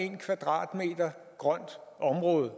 en kvadratmeter grønt område